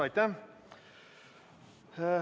Aitäh!